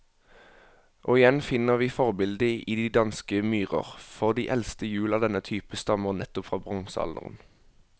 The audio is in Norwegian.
Og igjen finner vi forbildet i de danske myrer, for de eldste hjul av denne type stammer nettopp fra bronsealderen.